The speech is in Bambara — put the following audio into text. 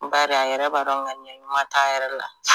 N ba dɔn a yɛrɛ b'a dɔnŋaniya ɲuman t'a yɛrɛ la